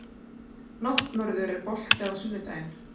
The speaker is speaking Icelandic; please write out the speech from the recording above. Náttmörður, er bolti á sunnudaginn?